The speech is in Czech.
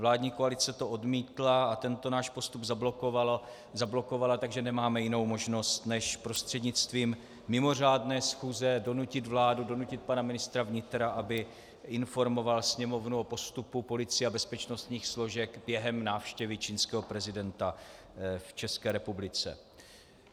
Vládní koalice to odmítla a tento náš postup zablokovala, takže nemáme jinou možnost než prostřednictvím mimořádné schůze donutit vládu, donutit pana ministra vnitra, aby informoval Sněmovnu o postupu policie a bezpečnostních složek během návštěvy čínského prezidenta v České republice.